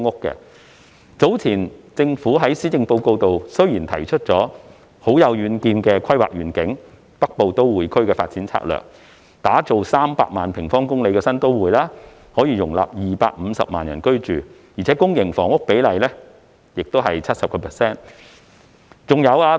政府早前在施政報告提出了很有遠見的規劃願景，即《北部都會區發展策略》，打造300平方公里的新都會，可容納250萬人居住，而且公營房屋比例達到 70%。